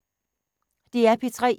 DR P3